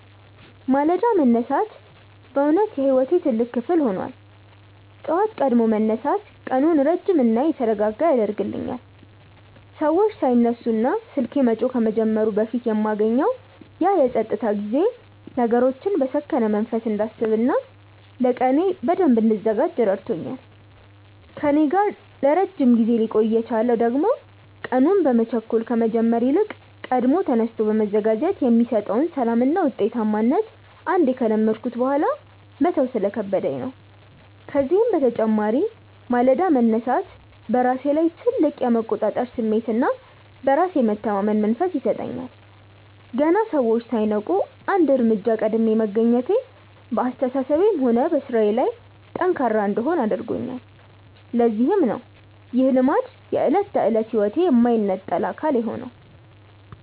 ማለዳ መነሳት በእውነት የሕይወቴ ትልቅ ክፍል ሆኗል። ጠዋት ቀድሞ መነሳት ቀኑን ረጅምና የተረጋጋ ያደርግልኛል፤ ሰዎች ሳይነሱና ስልኬ መጮህ ከመጀመሩ በፊት የማገኘው ያ የፀጥታ ጊዜ ነገሮችን በሰከነ መንፈስ እንዳስብና ለቀኔ በደንብ እንድዘጋጅ ረድቶኛል። ከእኔ ጋር ለረጅም ጊዜ ሊቆይ የቻለው ደግሞ ቀኑን በመቸኮል ከመጀመር ይልቅ ቀድሞ ተነስቶ መዘጋጀት የሚሰጠውን ሰላምና ውጤታማነት አንዴ ከለመድኩት በኋላ መተው ስለከበደኝ ነው። ከዚህም በተጨማሪ ማለዳ መነሳት በራሴ ላይ ትልቅ የመቆጣጠር ስሜትና በራስ የመተማመን መንፈስ ይሰጠኛል። ገና ሰዎች ሳይነቁ አንድ እርምጃ ቀድሜ መገኘቴ በአስተሳሰቤም ሆነ በሥራዬ ላይ ጠንካራ እንድሆን አድርጎኛል፤ ለዚህም ነው ይህ ልማድ የዕለት ተዕለት ሕይወቴ የማይነጠል አካል የሆነው።